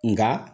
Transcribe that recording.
Nka